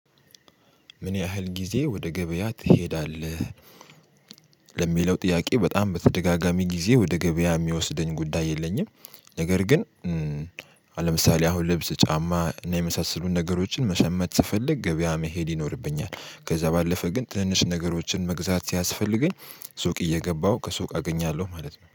ምን ያህል ጊዜ ወደ ገበያ ትሄዳለህ? ለሚለው ጥያቄ በጣም በተደጋጋሚ ጊዜ ወደ ገበያ ሚወስደኝ ጉዳይ የለኝም። ነገር ግን አ ለምሳሌ አሁን ልብስ ጫማ እና የመሳሰሉ ነገሮችን መሸመት ስፈልግ ገበያ መሄድ ይኖርብኛል። ከዛ ባለፈ ግን ትንንሽ ነገሮችን መግዛት ሲያስፈልገኝ ሱቅ እየገባው ከሱቅ አገኛለው ማለት ነው